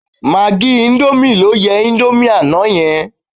Magí íńdómì ló yẹ indomie àná yẹn.